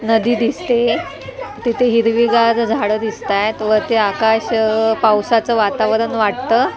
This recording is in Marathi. नदी दिसते तिथे हिरवीगार झाडे दिसताएत वरती आकाश अ पावसाचं वातावरण वाटतं .